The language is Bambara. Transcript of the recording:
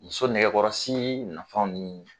Muso nɛgɛkɔrɔsii nafanw nii